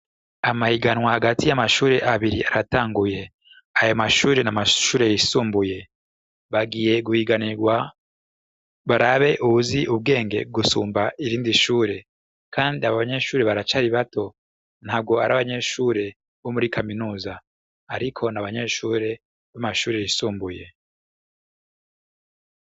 Amahiganwa hagati y'amashure abiri aratanguye, aya mashure n'amashure y'isumbuye, bagiye guhiganirwa barabe uwuzi ubwenge gusumba irindi shure, kandi abo banyeshure baracari bato, ntabwo arabanyeshure bo muri kaminuza, ariko n'abanyeshure bo mu mashure yisumbuye.